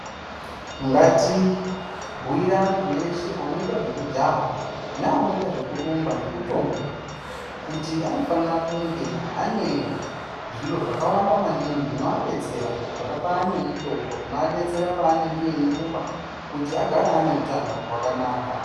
Ngati bhuire antu eshe anoita zvekujaha neanoita zvekurumba nekutomuka. Kuti anofanira kunge ane zviro zvakawanda maningi zvinoabetsera zvakafanana nemitombo zvinoabetsera paanenge eirumba, kuti agare ane utano hwakanaka.